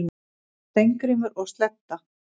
Steingrímur og Sledda,